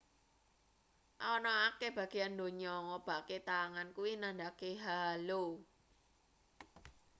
ana akeh bageyan ndonya ngobahke tangan kuwi nandhakake halo